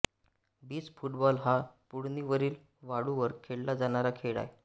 beach football हा पुळणीवरील वाळूवर खेळला जाणारा खेळ आहे